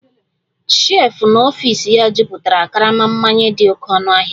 shelf n'ọfịs ya jupụtara karama mmanya dị oké ọnụ ahịa